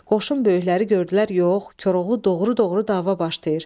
Qoşun böyükləri gördülər yox, Koroğlu doğru-doğru dava başlayır.